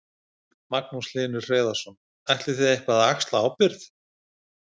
Magnús Hlynur Hreiðarsson: Ætlið þið eitthvað að axla ábyrgð?